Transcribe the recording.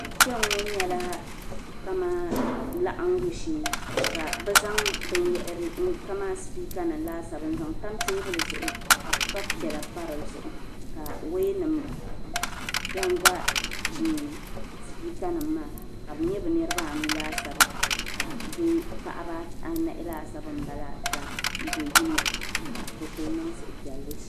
Kpiɛŋŋɔ nyɛla kaman laɣiŋɡu shee ka bɛ zaŋ binyɛhiri kaman sipiikanima laasabu n-tam teebuli zuɣu ka pipa piɛla pa di zuɣu ka wɛyanima ɡa n-ɡa sipiikanima maa ka bɛ nyɛ bɛ niriba anu laasabu ka paɣiba anahi laasabu m-bala do' yino ka bɛ kuli niŋ suhupiɛlli ʒiya